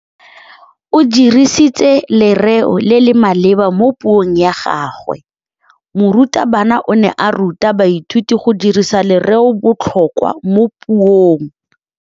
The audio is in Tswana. O dirisitse lerêo le le maleba mo puông ya gagwe. Morutabana o ne a ruta baithuti go dirisa lêrêôbotlhôkwa mo puong.